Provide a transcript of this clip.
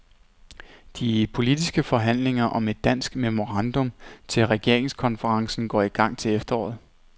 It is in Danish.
De politiske forhandlinger om et dansk memorandum til regeringskonferencen går i gang til efteråret.